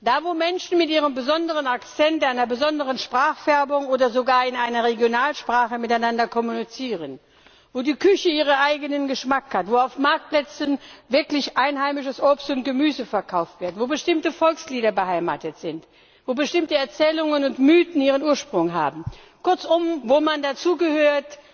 da, wo Menschen mit ihrem besonderen Akzent, einer besonderen Sprachfärbung oder sogar in einer Regionalsprache miteinander kommunizieren, wo die Küche ihren eigenen Geschmack hat, wo auf Marktplätzen wirklich einheimisches Obst und Gemüse verkauft wird, wo bestimmte Volkslieder beheimatet sind, wo bestimmte Erzählungen und Mythen ihren Ursprung haben, kurzum, wo man dazugehört,